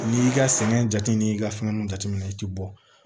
N'i y'i ka sɛgɛn jate n'i ka fɛngɛnw jateminɛ i tɛ bɔ